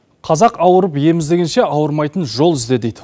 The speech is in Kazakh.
қазақ ауырып ем іздегенше ауырмайтын жол ізде дейді